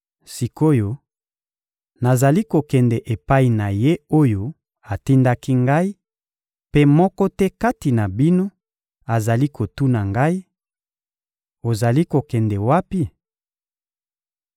Sik’oyo, nazali kokende epai na Ye oyo atindaki Ngai, mpe moko te kati na bino azali kotuna Ngai: «Ozali kokende wapi?»